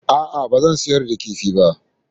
A'a, ba zan sayar da kifin ba